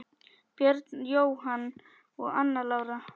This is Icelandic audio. Björn Jóhann og Anna Lára.